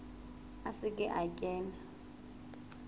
a se ke a kena